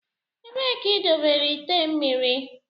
Ebee ka idobere ite mmiri.